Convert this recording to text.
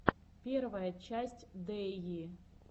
первая часть дэйи